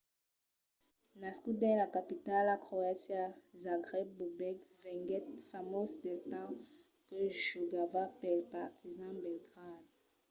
nascut dins la capitala croata zagreb bobek venguèt famós del temps que jogava pel partizan belgrade